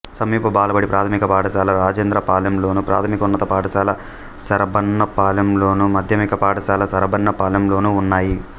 సమీప బాలబడి ప్రాథమిక పాఠశాల రాజేంద్రపాలెంలోను ప్రాథమికోన్నత పాఠశాల శరభన్నపాలెంలోను మాధ్యమిక పాఠశాల శరభన్నపాలెంలోనూ ఉన్నాయి